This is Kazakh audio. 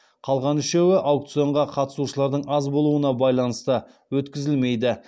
қалған үшеуі аукционға қатысушылардың аз болуына байланысты өткізілмейді